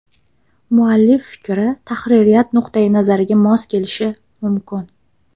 Muallif fikri tahririyat nuqtai nazariga mos kelishi mumkin.